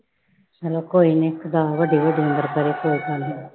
ਚੱਲ ਕੋਈ ਨਾ ਵੱਡੀ ਵੱਡੀ ਉਮਰ ਕਰੇ ਸੌ ਸਾਲ ਦੀ।